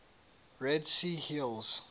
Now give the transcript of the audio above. red sea hills